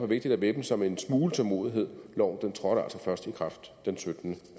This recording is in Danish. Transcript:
vigtigt at væbne sig med en smule tålmodighed loven trådte altså først i kraft den syttende